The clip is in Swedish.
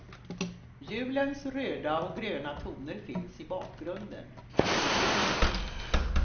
Julens röda och gröna toner finns i bakgrunden. punkt